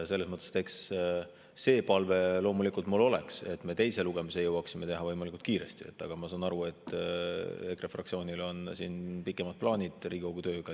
See palve mul loomulikult oleks, et me teise lugemise jõuaksime teha võimalikult kiiresti, aga ma saan aru, et EKRE fraktsioonil on Riigikogu tööga pikemad plaanid.